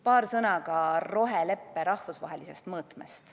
Paar sõna ka roheleppe rahvusvahelisest mõõtmest.